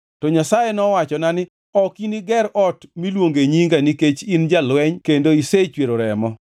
To Nyasaye nowachona ni, ‘Ok iniger ot miluonge Nyinga nikech in jalweny kendo isechwero remo.’